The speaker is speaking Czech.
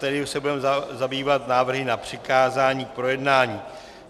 Tedy už se budeme zabývat návrhy na přikázání k projednání.